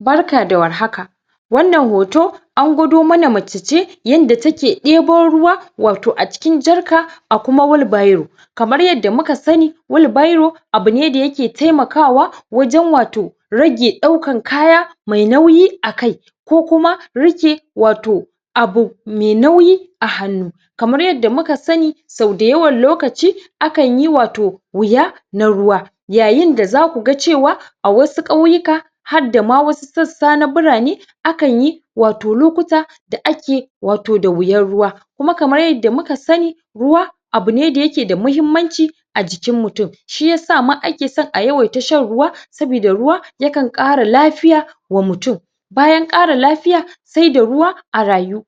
barka da war haka wannan hoto, an gwado mana mace ce yanda ta ke ibo ruwa watau a cikin jerry can kuma whel barrow kamar yadda muka sani, wheel barrow abu ne da ya ke taimakawa wajen watau rage daukan kaya mai nauyi a kai ko kuma rike watau abu mai nauyi a hannu kamar yadda muka sani so da yawan lokaci akan yi watau wuya na ruwa yayin da za ku ga cewa a wasu kauyuka har da ma wasu sassa na birane akan yi watau lokuta da ake da watau da wuyan ruwa kuma kamar yadda muka sani, ruwa abu ne da yake da muhimmanci a jikin mutum shi ya sa ma ake so ma a yi yawan ta shan ruwa sobida ruwa yakan kara lafiya wa mutum. Bayan kara lafiya, sai da ruwa a rayu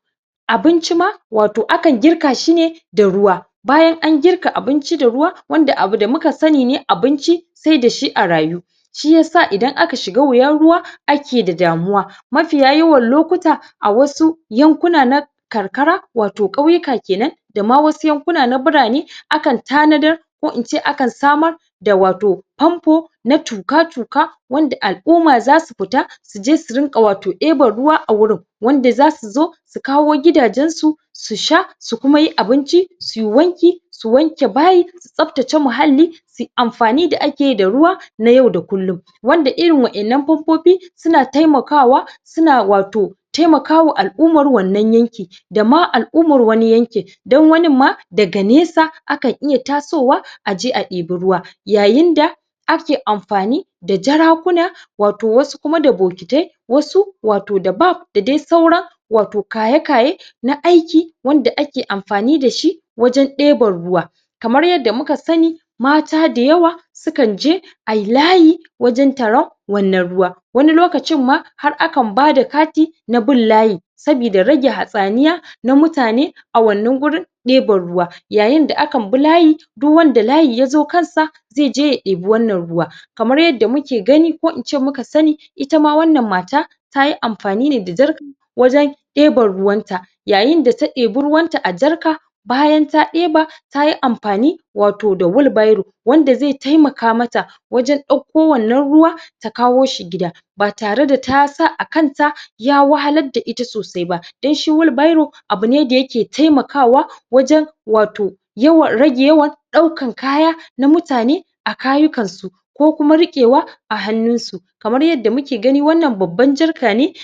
abinchi ma watau akan girka shi ne da ruwa bayan an girka abinci da ruwa, wanda abu da muka sani ne abinci sai da shi a rayu shi ya sa idan aka shiga wuyan ruwa ake da damuwa mafiya yawan lokuta, a wasu yankuna na karkara watau kauyuka kenan da ma wasu yankuna na birane, akan tanadar ko in ce akan sa ma watau pompo na tuka tuka, wanda al'uma zasu fita su je su je su watau diban ruwa a wurin, wanda za su zo kawo gidajen su, su sha, su kuma yi abinci, su yi wanki su wanke bayi, su tsaftace mahalli amfani da ake yi da ruwa, na yau da kulun wanda irin wadan nan pompopi su na taimakawa su na watau taimaka wa al'umar wannan yanki da ma al'umar wani yanki dan wanin ma daga nesa akan iya tasowa aje a ibi ruwa. yayin da ake amfani da jarakuna, watau wasu kuma da bokitai, wasu watau da baf da dai saura watau kaye kaye na aiki wanda ake amfani da shi wajen diban ruwa kamar yadda mu ka sani, mata da yawa sukan je ayi layi wajen taro wannan ruwa. wani lokacin ma har akan ba da kati na bin layi sobida rage hasaniya na mutane a wannan wurin diban ruwa, yayin da akan bi layi duk wanda layi ya zo kansa sai ya je ya dibi wannan ruwa, kamar yadda muke gani ko in ce muka sani, ita ma wannan mata tayi amfani ne da jerry can wajen diban ruwan ta yayin da ta diba ruwan ta a jerry can bayan ta diba, ta yi amfani watau da wheel barrow wanda zai taimaka mata wajen dauko wannan ruwa ta kawo shi gida ba tare da ta sa a kanta ya wahalla da ita sosai ba dan shi wheel barrow abu ne da yake taimakawa, wajen watau yawan rage yawan, daukan kaya na mutane a kayukan su ko kuma rikewa a hannun su kamar yadda muke gani wannan babban jerry can ne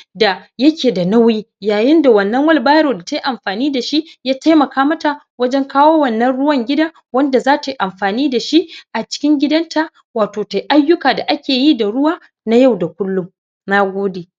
yake da nauyi, yayen da wannan wheel barrow ta ke amfani da shi ya taimaka mata wajen kawo wannan ruwan gida wanda za ta yi amfani da shi a cikin gidan ta watau ta yiayuka da ake yi da ruwa na yau da kulum, nagode yake da nauyi yayen da wannan wheel barrow da ta yi amfani dashi, ya taimaka mata wajen kawo wannan ruwan gida, wanda za ta yi amfani da shi, a cikin gidan ta watau ta yi ayuka da ake yi da ruwa na yau da kullum, nagode